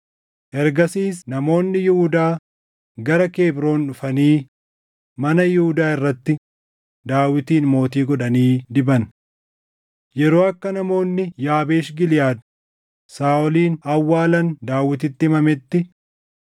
Ergasiis namoonni Yihuudaa gara Kebroon dhufanii mana Yihuudaa irratti Daawitin mootii godhanii diban. Yeroo akka namoonni Yaabeesh Giliʼaad Saaʼolin awwaalan Daawititti himametti,